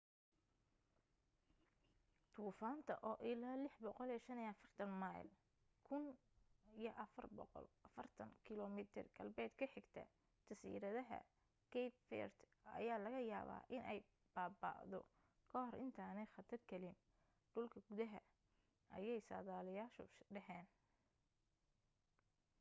duufaanta oo ilaa 645 mayl 1040 km galbeed ka xigta jasiiradaha cape verde ayaa laga yaabaa inay baaba'do ka hor intaanay khatargelin dhulka gudaha ayay sadaaliyaashu dhaheen